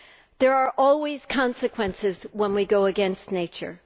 There are always consequences when we go against nature.